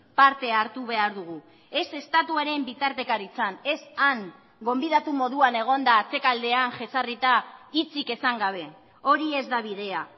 parte hartu behar dugu ez estatuaren bitartekaritzan ez han gonbidatu moduan egonda atzekaldean jezarrita hitzik esan gabe hori ez da bidea